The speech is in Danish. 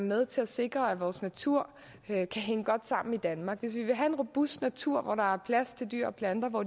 med til at sikre at vores natur kan hænge godt sammen i danmark hvis vi vil have en robust natur hvor der er plads til dyr og planter og hvor